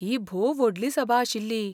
ही भोव व्हडली सभा आशिल्ली.